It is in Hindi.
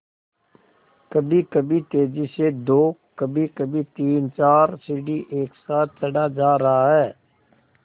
कभीकभी तेज़ी से दो कभीकभी तीनचार सीढ़ी एक साथ चढ़ा जा रहा है